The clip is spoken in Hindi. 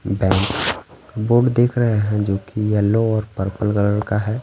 बैंक बोर्ड देख रहे हैं जो कि येल्लो और पर्पल कलर का हैं ।